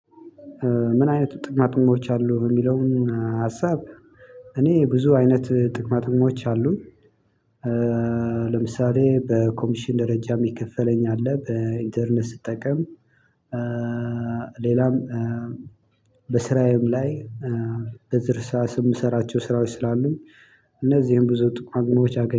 ምን አይነት ጥቅማጥቅሞች አሉ? የሚለውን ሀሳብ እኔ ብዙ አይነት ጥቅማጥቅሞች አሉኝ። ለምሳሌ በኮሚሽን ደረጃ የሚከፈለኛል በኢንተርነ ስጠቀም። ሌላም በስራዬም ላይ በእርሳስ የምሰራቸው ስራዎች ስላሉኝ። እነዚህን ብዙ ጥቅማጥቅሞች አገኝ